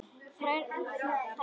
Þær seldust illa.